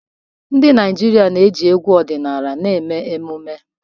Ndị Naijiria na-eji egwu ọdịnala na-eme omenala.